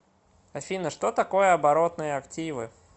афина что такое оборотные активы